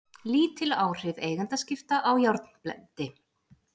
Lítil áhrif eigendaskipta á járnblendi